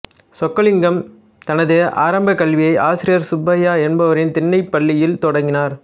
சொக்கலிங்கம் தனது ஆரம்பக்கல்வியை ஆசிரியர் சுப்பையா என்பவரின் திண்ணைப் பள்ளியில் தொடங்கினார்